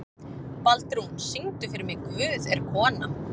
Baldrún, syngdu fyrir mig „Guð er kona“.